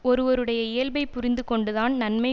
ஒருவருடைய இயல்பைப் புரிந்து கொண்டுதான் நன்மை